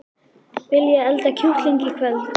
Viljiði elda kjúkling í kvöld?